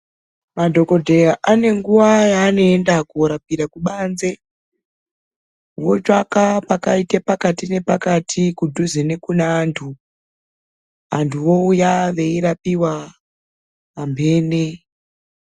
Madhogodheya anenguva yaanoenda kunorapira kubanze votsvaka pakaite pakati nepakati kudhuze nekune antu. Antu vouya eirapiwa pamhene.